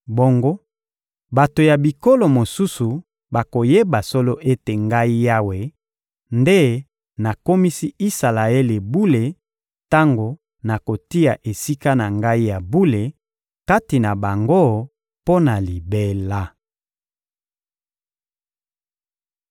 Bongo bato ya bikolo mosusu bakoyeba solo ete Ngai Yawe nde nakomisi Isalaele bule tango nakotia Esika na Ngai ya bule kati na bango mpo na libela.›»